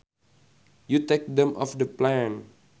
you take them off the plant